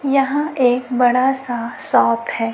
यहां एक बड़ा सा शॉप है।